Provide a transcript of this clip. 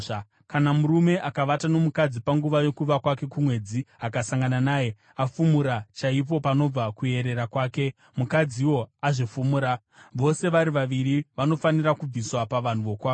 “ ‘Kana murume akavata nomukadzi panguva yokuva kwake kumwedzi akasangana naye, afumura chaipo panobva kuyerera kwake, mukadziwo azvifumura. Vose vari vaviri vanofanira kubviswa pavanhu vokwavo.